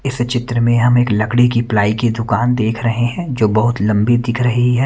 इस चित्र में हम एक लकड़ी की प्लाई की दुकान देख रहे हैं जो बहुत लंबी दिख रही है।